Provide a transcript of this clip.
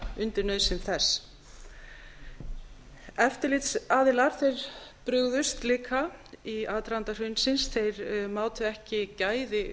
undir nauðsyn þess eftirlitsaðilar brugðust líka í aðdraganda hrunsins þeir mátu ekki gæði